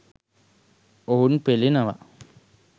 ඔවුන් පෙළෙනවා.